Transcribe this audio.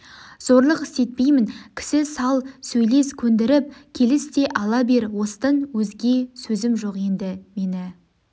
зорлық істетпеймін кісі сал сөйлес көндіріп келіс те ала бер осыдан өзге сөзім жоқ енді мені